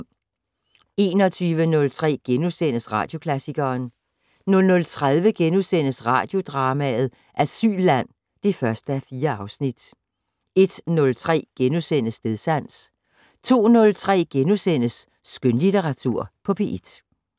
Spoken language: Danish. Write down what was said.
21:03: Radioklassikeren * 00:30: Radiodrama: Asylland (1:4)* 01:03: Stedsans * 02:03: Skønlitteratur på P1 *